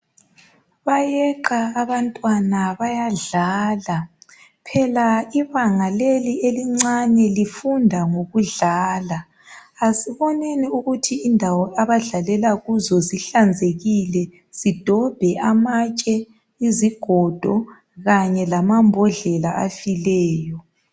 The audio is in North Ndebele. Bayeqa abantwana bayadlala phela ibanga leli elincane lifunda ngokudlala. Asiboneni ukuthi indawo abadlalela kuzo zihlanzekile sidobhe amatshe, izigodo Kanye lamambodlela afileyo